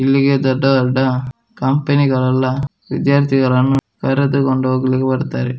ಇಲ್ಲಿಗೆ ದೊಡ್ಡ ದೊಡ್ಡ ಕಂಪೆನಿಗಳೆಲ್ಲಾ ವಿದ್ಯಾರ್ಥಿಗಳನ್ನು ಕರೆದುಕೊಂಡು ಹೋಗ್ಲಿಕೆ ಬರ್ತಾರೆ.